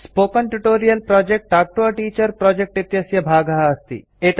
spoken tutorial project talk to a teacher project इत्यस्य भागः अस्ति